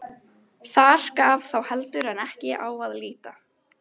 Þar gaf þá heldur en ekki á að líta.